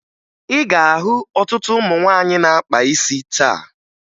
Ị ga-ahụ ọtụtụ ụmụ nwaanyị na-akpa isi taa